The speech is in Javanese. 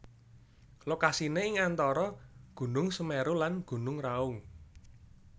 Lokasiné ing antara Gunung Semeru lan Gunung Raung